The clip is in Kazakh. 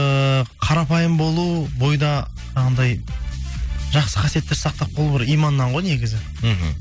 ыыы қарапайым болу бойда анандай жақсы қасиеттерді сақтап қалу бір иманнан ғой негізі мхм